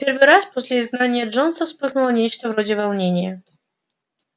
в первый раз после изгнания джонса вспыхнуло нечто вроде волнения